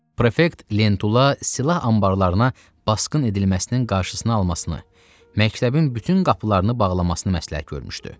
Prefekt Lentula silah anbarlarına basqın edilməsinin qarşısını almasını, məktəbin bütün qapılarını bağlamasını məsləhət görmüşdü.